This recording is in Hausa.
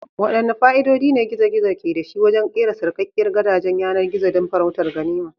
Waɗanne fa'idodi ne gizo-gizo ke da shi wajen kera sarkakkiyar gidajen yanar gizo don farautar ganima?